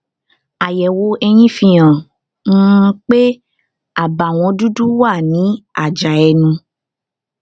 àyẹwò eyín fihàn um pé àbàwọn dúdú wà ní àjà ẹnu